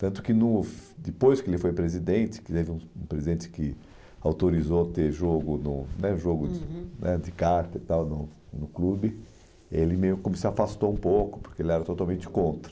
Tanto que no depois que ele foi presidente, que teve um um presidente que autorizou ter jogo no né jogo, uhum, né de carta e tal no no clube, ele meio que se afastou um pouco, porque ele era totalmente contra.